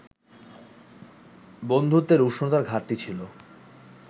বন্ধুত্বের উষ্ণতার ঘাটতি ছিল